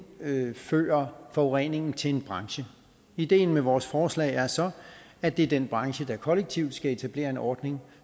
henføre forureningen til en branche ideen med vores forslag er så at det er den branche der kollektivt skal etablere en ordning